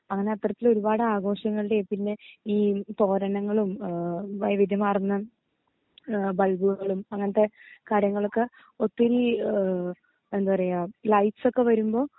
അങ്ങനെ കൊറച്ച് ഒരുപാട് ആഘോഷങ്ങൾടെ പിന്നെ ഈ തോരനങ്ങളും ഏഹ് വൈവിദ്യ മാർന്ന് ഏഹ് ബൾബുകളും അങ്ങനത്തെ കാര്യങ്ങളൊക്കെ ഒത്തിരി ഏഹ് എന്താ പറയാ ലൈറ്റ്സൊക്കെ വരുമ്പോ